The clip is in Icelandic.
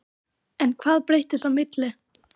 En hvað breyttist á milli?